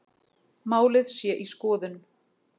Málið sé í skoðun